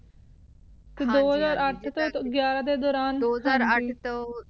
ਹਨ ਜੀ ਟੀ ਦੋ ਹਜ਼ਾਰ ਅੱਠ ਤੋ ਟੀ ਗਿਯ੍ਰਾਂ ਦੇ ਹੁੰਦੀ